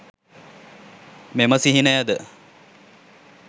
මෙම සිහිනයද